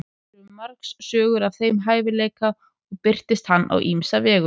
til eru margar sögur af þeim hæfileika og birtist hann á ýmsa vegu